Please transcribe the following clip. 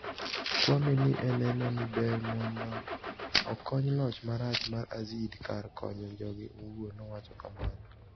Kwame ni eno nii ber monido okoniy loch marach mar Azid kar koniyo joge owuoni,' nowacho kamano.